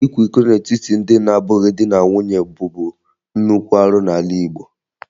Ịkwa iko n'etiti ndị na-abụghị di na nwunye bụbu nnukwu arụ n'ala Igbo